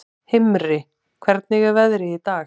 Himri, hvernig er veðrið í dag?